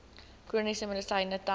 chroniese medisyne tel